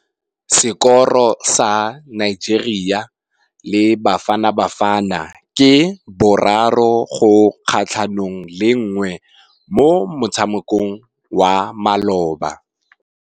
Sekôrô sa Nigeria le Bafanabafana ke 3-1 mo motshamekong wa malôba.